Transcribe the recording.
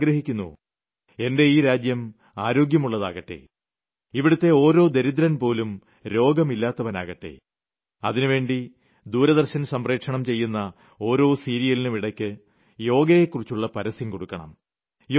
ഞാൻ ആഗ്രഹിക്കുന്നുഎന്റെ ഈ രാജ്യം ആരോഗ്യമുളളതാകട്ടെ ഇവിടത്തെ ഒരു ദരിദ്രൻ പോലും രോഗമില്ലാത്തവനാകട്ടെ അതിനുവേണ്ടി ദൂരദർശൻ സംപ്രേഷണം ചെയ്യുന്ന ഓരോ സീരിയലിനും ഇടയ്ക്ക് യോഗയെക്കുറിച്ചുളള പരസ്യം കൊടുക്കണം